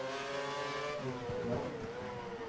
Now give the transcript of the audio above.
Jostedal